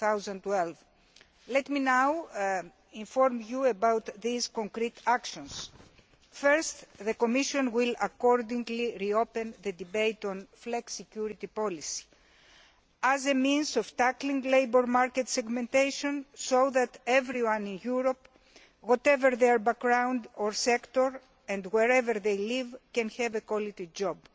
2012. Let me now inform you about those concrete actions. First, the Commission will duly reopen the debate on flexicurity policy as a means of tackling labour market segmentation, so that everyone in Europe, whatever their background or sector and wherever they live, can have a quality job.